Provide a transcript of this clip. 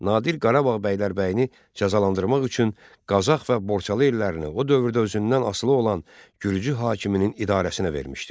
Nadir Qarabağ bəylərbəyini cəzalandırmaq üçün Qazax və Borçalı illərini o dövrdə özündən asılı olan gürcü hakimin idarəsinə vermişdi.